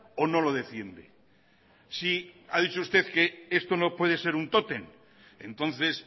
o no lo defiende sí ha dicho usted que esto no puede ser un tótem entonces